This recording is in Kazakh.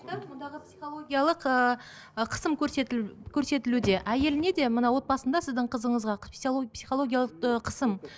бұндағы психологиялық ыыы ы қысым көрсетілуде әйеліне де мына отбасында сіздің қызыңызға психологиялық ыыы қысым